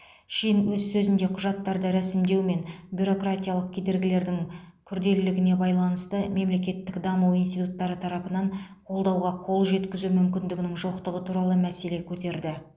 шин өз сөзінде құжаттарды ресімдеу мен бюрократиялық кедергілердің күрделілігіне байланысты мемлекеттік даму институттары тарапынан қолдауға қол жеткізу мүмкіндігінің жоқтығы туралы мәселе көтерді